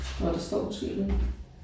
Nåh der står måske ikke noget